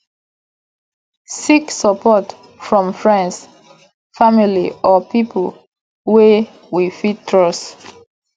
seek support from friends family or pipo wey we fit trust